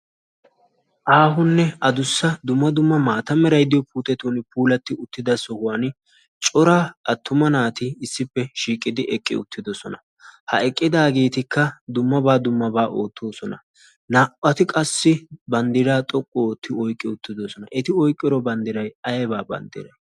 aahonne adussa dumma dumma sohuwan eqqida naa'u naati banddiraa oyqqi uttidosona. eti oyqqi uttido bandiray aybaa bandiree?